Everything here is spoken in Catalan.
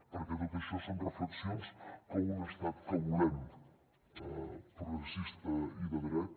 perquè tot això són reflexions que un estat que volem progressista i de dret